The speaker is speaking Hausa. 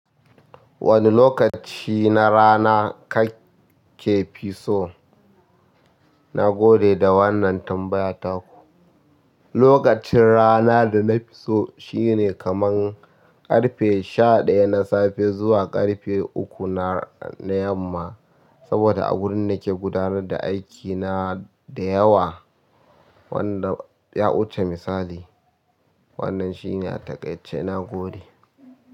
Wane lokaci na rana kake fi so? Na gode da wannan tambaya taku. Lokacin rana da na fi so shine kaman ƙarfe sha ɗaya na safe zuwa ƙarfe uku na yamma, saboda a gurin nake gudanar da aikina da yawa wanda ya wuce misali. Wannan shi ne a takaice na gode.